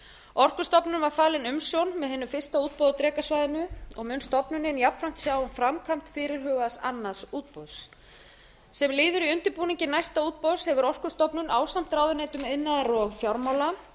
orkustofnun var falin umsjón með hinu fyrsta útboði á drekasvæðinu mun stofnunin jafnframt sjá um framkvæmd fyrirhugaðs annars útboðs sem liður í undirbúningi næsta útboðs hefur orkustofnun ásamt ráðuneytum iðnaðar og fjármála